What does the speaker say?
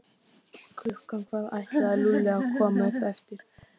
Klukkan hvað ætlaði Lúlli að koma upp eftir?